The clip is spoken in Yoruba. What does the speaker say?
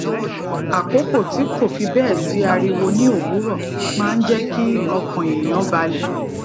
àkókò tí kò fi béè sí ariwo ní òwúrò máa ń jé kí ọkàn èèyàn balè